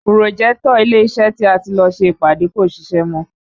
Pùròjẹ́tọ̀ ilé iṣẹ́ tí a ti lọ ṣe ìpàdé kò ṣiṣẹ́ mọ́